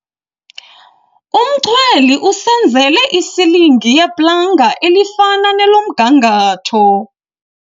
Umchweli usenzele isilingi yeplanga elifana nelomgangatho.